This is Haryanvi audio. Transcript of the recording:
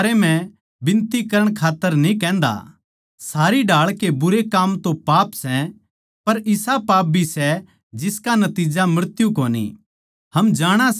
हम जाणा सां के जो कोए परमेसवर ऊलाद सै वो बारबार पाप न्ही करते क्यूँके परमेसवर का बेट्टा यीशु मसीह उसनै पाप तै बचाई राक्खैगा अर शैतान उसनै छु भी न्ही पांदा